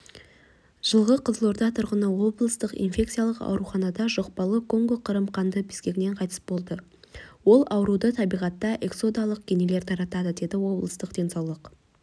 жылғы қызылорда тұрғыны облыстық инфекциялық ауруханада жұқпалы конго-қырым қанды безгегінен қайтыс болды ол ауруды табиғатта иксодалық кенелер таратады деді облыстық денсаулық